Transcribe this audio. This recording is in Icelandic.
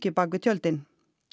bak við tjöldin